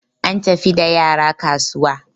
an tafi da yara kasuwa